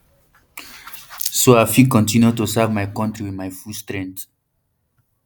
so i fit continue to serve my country with my full strength